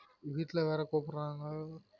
வீட்லவேற கூப்புடுறாங்க